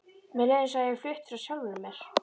Mér leið eins og ég hefði flutt frá sjálfri mér.